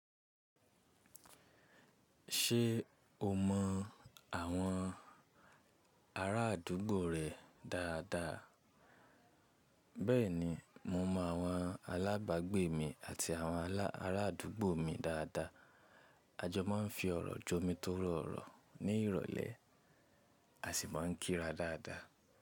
Ṣé o mọ àwọn arádúgbò rẹ dáadáa? Bẹ́ẹ̀ni, mo mọ àwọn alábàágbé mi àti àwọn arádúgbò mi dáadáa. A jọ máa ń fi ọ̀rọ̀ jọ́ mi tó rọ̀ọ̀rọ̀ ní ìrọ̀lẹ́ a sì máa ń kíra dáadáa.